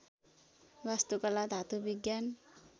वास्तुकला धातु विज्ञान